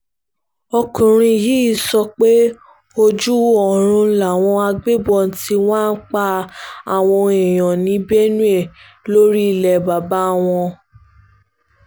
ọkùnrin yìí sọ pé ojú oorun làwọn agbébọn tí wàá ń pa àwọn èèyàn ní benue lórí ilé bàbá wọn